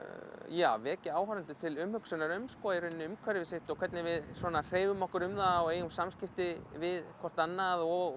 já vekja áhorfendur til umhugsunar um umhverfi sitt hvernig við hreyfum okkur um það eigum samskipti við hvort annað og